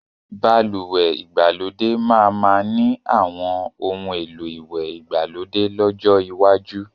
Balùwẹ́ ìgbàlódé máa ma ni àwọn oun èlò ìwẹ̀ ìgbàlódé lọ́jọ́ iwájú